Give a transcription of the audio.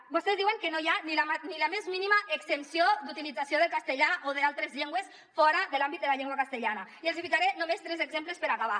vostès diuen que no hi ha ni la més mínima extensió d’utilització del castellà o d’altres llengües fora de l’àmbit de la llengua castellana i els hi ficaré només tres exemples per acabar